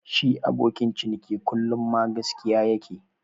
Shi abokin ciniki kullu ma gaskiya ya ke.